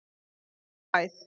í æð.